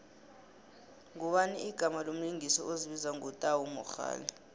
ngubani igama lomlingisi ozibiza ngo tau mogale